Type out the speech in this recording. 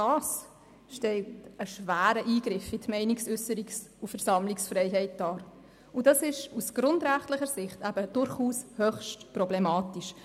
Dies stellt einen schweren Eingriff in die Meinungsäusserungs- und Versammlungsfreiheit dar und ist aus grundrechtlicher Sicht höchst problematisch.